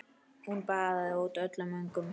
Hún baðaði út öllum öngum.